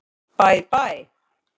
Bæ bæ!